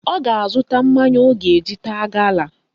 Ọ ga-azụta mmanya ọ ga-eji taa gala